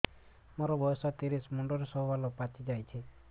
ମୋର ବୟସ ତିରିଶ ମୁଣ୍ଡରେ ସବୁ ବାଳ ପାଚିଯାଇଛି